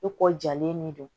I kɔ jalen ne don